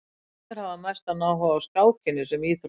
Sumir hafa mestan áhuga á skákinni sem íþrótt.